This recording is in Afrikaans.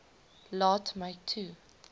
laat my toe